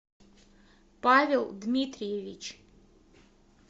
павел дмитриевич